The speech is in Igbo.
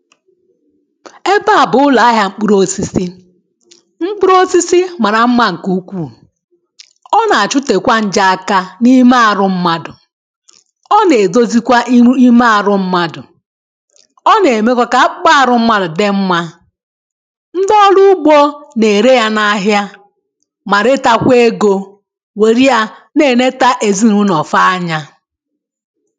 Ebe à bụ̀ ụlọ ahịa mkpụrụ osisi mkpụrụ osisi mara mma nke ukwù ọ na-achutekwa nje aka na ime arụ mmadụ̄ ọ na-edozikwa iru ime arụ mmadụ̄ ọ na-emekwa ka akpụkpa arụ mmadụ̄ dị mmà ndị ọrụ ugbo na-ere ya na ahịa ma retakwa egō were yà na-eneta ezinaụlọ fa anyà